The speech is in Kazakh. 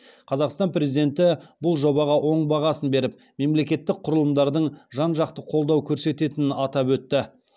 қазақстан президенті бұл жобаға оң бағасын беріп мемлекеттік құрылымдардың жан жақты қолдау көрсететінін атап өтті